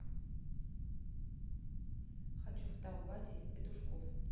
хочу в таубате из петушков